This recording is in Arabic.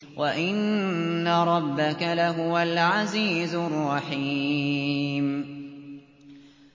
وَإِنَّ رَبَّكَ لَهُوَ الْعَزِيزُ الرَّحِيمُ